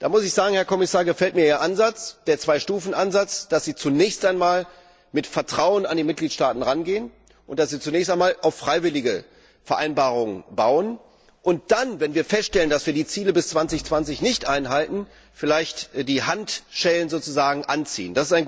Da muss ich sagen, Herr Kommissar, mir gefällt Ihr Ansatz, der Zwei Stufen Ansatz, dass Sie zunächst einmal mit Vertrauen an die Mitgliedstaaten herangehen und dass Sie zunächst einmal auf freiwillige Vereinbarungen bauen und dann, wenn wir feststellen, dass wir die Ziele bis 2020 nicht einhalten, vielleicht die Daumenschrauben anziehen.